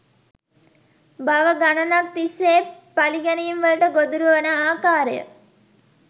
භව ගණනක් තිස්සේ පළිගැනීම්වලට ගොදුරුව වන ආකාරය